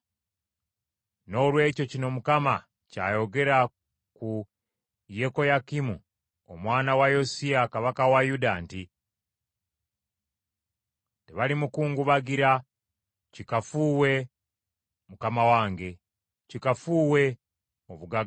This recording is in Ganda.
Noolwekyo kino Mukama ky’ayogera ku Yekoyakimu omwana wa Yosiya kabaka wa Yuda nti, “Tebalimukungubagira; ‘Kikafuuwe, mukama wange!’ Kikafuuwe, obugagga bwe!